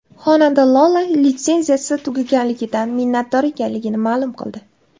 Xonanda Lola litsenziyasi tugatilganidan minnatdor ekanligini ma’lum qildi.